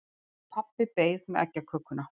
Pabbi beið með eggjakökuna.